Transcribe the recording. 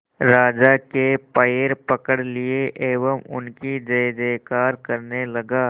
राजा के पैर पकड़ लिए एवं उनकी जय जयकार करने लगा